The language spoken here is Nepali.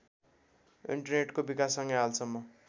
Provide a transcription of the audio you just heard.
इन्टरनेटको विकाससँगै हालसम्म